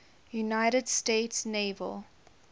united states naval